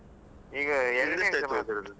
ಈಗ ಎರಡ್ನೇ